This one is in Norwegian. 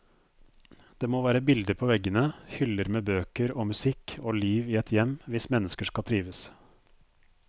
Det må være bilder på veggene, hyller med bøker og musikk og liv i et hjem hvis mennesker skal trives.